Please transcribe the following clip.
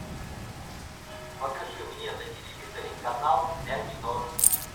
покажи мне на телевизоре канал ля минор